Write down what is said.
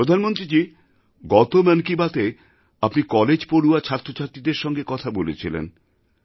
প্রধানমন্ত্রীজি গত মন কি বাতএআপনি কলেজপড়ুয়া ছাত্রছাত্রীদের সঙ্গে কথা বলেছিলেন